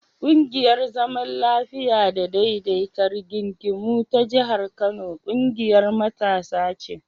ƙungiyar zaman lafiya da daidaita rigingimu ta jihar Kano ƙungiyar matasa ce.